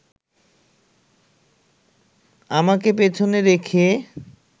আমাকে পেছনে রেখে